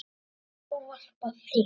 Ég ávarpa þig